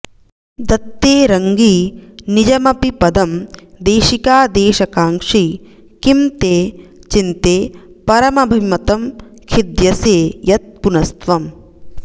दत्ते रङ्गी निजमपि पदं देशिकादेशकाङ्क्षी किं ते चिन्ते परमभिमतं खिद्यसे यत् पुनस्त्व्म्